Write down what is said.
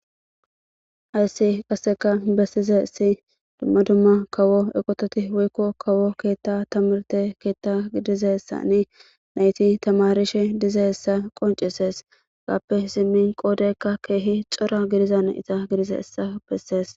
ayssi qasseka bessizesi dumma dumma kawo eqototi woykko kawo keetta tamarte keetta gidizessani nayti tamarishe dizayissa qoncisees gaappe zimmin qoodeykka keehi cora gidizan iza gidize hessa bessees